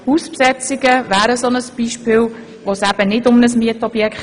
Hausbesetzungen sind ein Beispiel dafür.